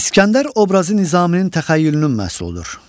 İsgəndər obrazı Nizaminin təxəyyülünün məhsuludur.